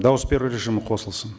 дауыс беру режимі қосылсын